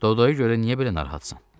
Dodoyu görə niyə belə narahatsan?